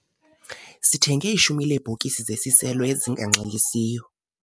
Sithenge ishumi leebhokisi zeziselo ezinganxilisiyo.